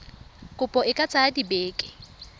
kopo e ka tsaya dibeke